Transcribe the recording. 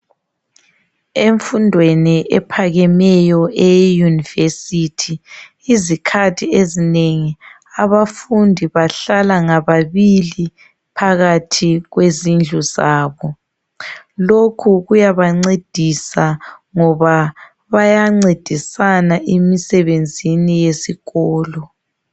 Emfundweni ephakemeyo uye eYunivesithi izikhathi ezinengi abafundi bahlala ngababili phakathi kwezindlu zabo. Lokhu kuyabancedisa ngoba bayancedisana imisebenzini yesikolo.